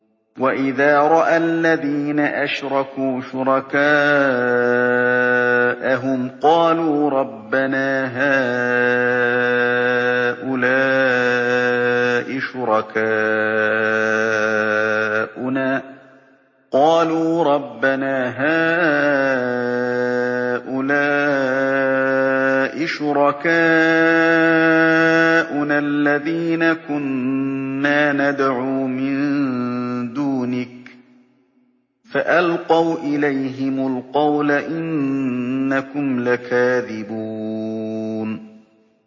وَإِذَا رَأَى الَّذِينَ أَشْرَكُوا شُرَكَاءَهُمْ قَالُوا رَبَّنَا هَٰؤُلَاءِ شُرَكَاؤُنَا الَّذِينَ كُنَّا نَدْعُو مِن دُونِكَ ۖ فَأَلْقَوْا إِلَيْهِمُ الْقَوْلَ إِنَّكُمْ لَكَاذِبُونَ